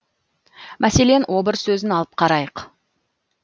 мәселен обыр сөзін алып қарайық